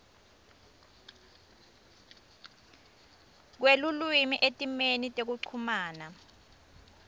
kwelulwimi etimeni tekuchumana